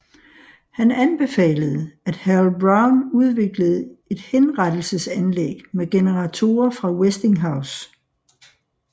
Han anbefalede at Harold Brown udviklede et henrettelsesanlæg med generatorer fra Westinghouse